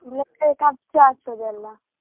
ಇಲ್ಲದ್ರೆ ಖರ್ಚಾಗ್ತದೆ ಅಲ್ಲಾ.